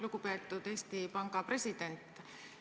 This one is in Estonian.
Lugupeetud Eesti Panga president!